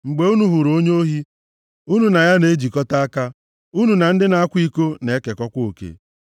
Mgbe unu hụrụ onye ohi, unu na ya na-ejikọta aka; unu na ndị na-akwa iko na-ekekọkwa oke.